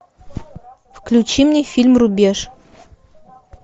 включи мне фильм рубеж